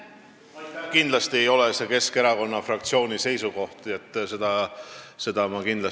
Kindlasti ei ole Keskerakonna fraktsiooni seisukoht, et tegu on teise vabariigiga.